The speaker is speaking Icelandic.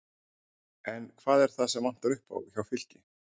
En hvað er það sem vantar upp á hjá Fylki?